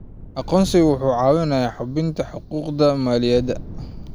Aqoonsigu wuxuu caawiyaa hubinta xuquuqda muwaadiniinta.